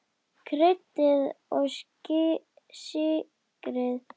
Kryddið og sykrið.